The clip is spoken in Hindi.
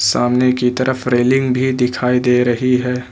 सामने की तरफ रेलिंग भी दिखाई दे रही है।